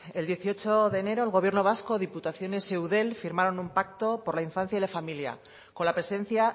el dieciocho de enero el gobierno vasco diputaciones y eudel firmaron un pacto por la infancia y la familia con la presencia